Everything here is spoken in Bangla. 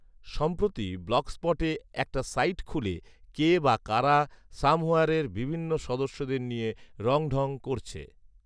সম্প্রতি ব্লগস্পটে একটা সাইট খুলে কে বা কারা সামহোয়্যারের বিভিন্ন সদস্যদের নিয়া রংঢং করছে